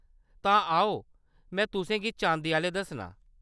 तां आओ में तुसें गी चांदी आह्‌‌‌ले दस्सनां।